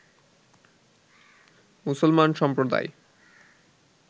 মুসলমান সম্প্রদায়